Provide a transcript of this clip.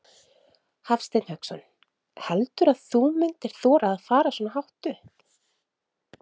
Hafsteinn Hauksson: Heldurðu að þú myndir þora að fara svona hátt upp?